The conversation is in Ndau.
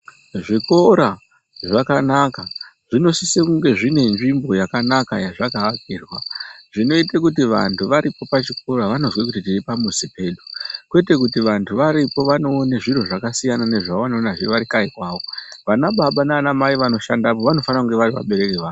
Zvikora zvakanaka zvinosiso kunge zvinenzvimbo yakanaka yazvakaakirwa zvinoite kuti antu varipo pachikora vanozwe kuti tiri pamuzi pedu. Kwete kuti vantu varipo vanoone zviro zvakasiyanazve nezvavanoona varikanyi kwavo. Vana baba nana mai vanoshandapo vanofana kunge varivabereki vavo.